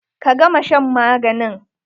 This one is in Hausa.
Ka gama shan maganin!